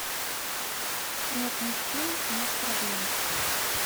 нет мужчин нет проблем